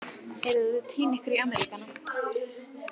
Drengurinn var þá kominn á skurðarborðið eins og